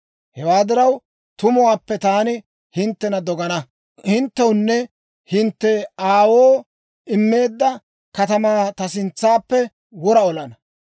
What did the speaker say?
Hewaa diraw, tumuwaappe taani hinttena dogana; hinttewunne hintte aawoo immeedda katamaa ta sintsappe wora olana.